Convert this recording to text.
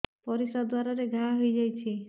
ପରିଶ୍ରା ଦ୍ୱାର ରେ ଘା ହେଇଯାଇଛି